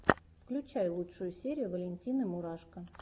включай лучшую серию валентины мурашко